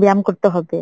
ব্যায়াম করতে হবে।